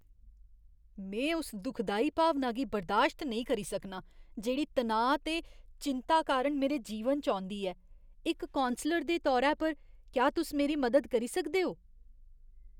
में उस दुखदाई भावना गी बर्दाश्त नेईं करी सकनां जेह्ड़ी तनाऽ ते चिंता कारण मेरे जीवन च औंदी ऐ, इक कौंसलर दे तौरै पर, क्या तुस मेरी मदद करी सकदे ओ?